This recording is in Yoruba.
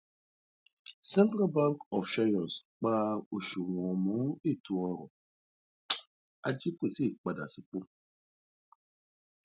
central bank of seychelles pa oṣuwọn mọ ètò ọrọ ajé kò tíì padà sípò